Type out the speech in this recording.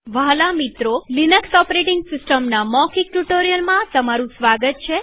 વ્હાલા મિત્રોલિનક્સ ઓપરેટીંગ સિસ્ટમના મૌખિક ટ્યુ્ટોરીઅલમાં તમારું સ્વાગત છે